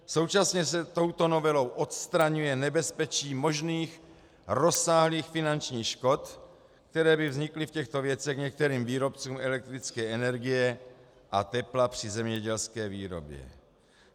Současně se touto novelou odstraňuje nebezpečí možných rozsáhlých finančních škod, které by vznikly v těchto věcech některým výrobcům elektrické energie a tepla při zemědělské výrobě.